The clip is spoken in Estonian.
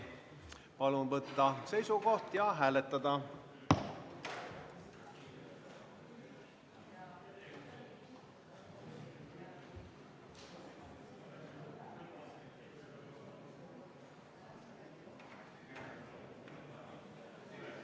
Palun võtta seisukoht ja hääletada!